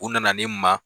U nana ne ma